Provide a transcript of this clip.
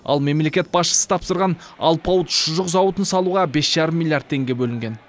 ал мемлекет басшысы тапсырған алпауыт шұжық зауытын салуға бес жарым миллиард теңге бөлінген